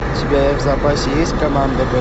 у тебя в запасе есть команда б